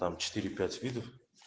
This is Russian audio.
там четыре пять видов